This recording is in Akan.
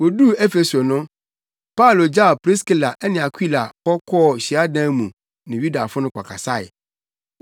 Woduu Efeso no, Paulo gyaw Priskila ne Akwila hɔ kɔɔ hyiadan mu ne Yudafo no kɔkasae.